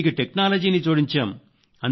దీనికి టెక్నాలజీని జోడించాము